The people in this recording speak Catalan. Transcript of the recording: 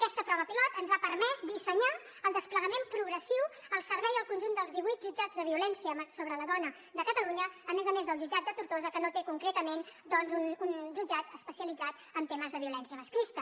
aquesta prova pilot ens ha permès dissenyar el desplegament progressiu al servei del conjunt dels divuit jutjats de violència sobre la dona de catalunya a més a més del jutjat de tortosa que no té concretament doncs un jutjat especialitzat en temes de violència masclista